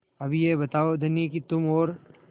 अब यह बताओ धनी कि तुम और